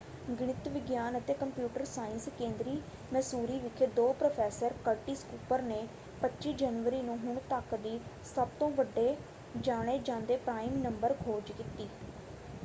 ਗਣਿਤ ਵਿਗਿਆਨ ਅਤੇ ਕੰਪਿਊਟਰ ਸਾਇੰਸ ਕੇਂਦਰੀ ਮੈਸੂਰੀ ਵਿਖੇ ਦੇ ਪ੍ਰੋਫੈਸਰ ਕਰਟਿਸ ਕੁਪਰ ਨੇ 25 ਜਨਵਰੀ ਨੂੰ ਹੁਣ ਤੱਕ ਦੀ ਸਭਤੋਂ ਵੱਡੇ ਜਾਣੇ ਜਾਂਦੇ ਪ੍ਰਾਈਮ ਨੰਬਰ ਖੋਜ ਕੀਤੀ।